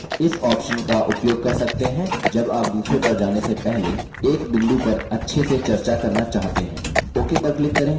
आप इस option का उपयोग कर सकते हैं जब आप दूसरे पर जाने से पहले एक बिंदु पर अच्छे से चर्चा करना चाहते हैं